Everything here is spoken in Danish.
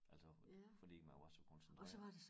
Altså fordi man var så koncentreret